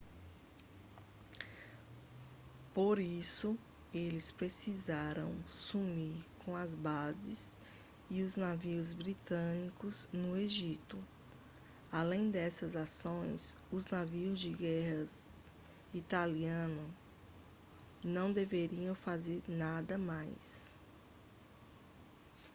por isso eles precisaram sumir com as bases e os navios britânicos no egito além dessas ações os navios de guerra italianos não deveriam fazer nada mais